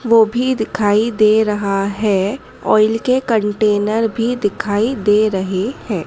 वो भी दिखाई दे रहा है और इनके कंटेनर भी दिखाई दे रहे हैं।